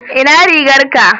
ina rigar ka?